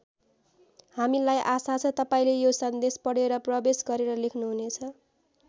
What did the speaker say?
हामीलाई आशा छ तपाईँले यो सन्देश पढेर प्रवेश गरेर लेख्नुहुनेछ।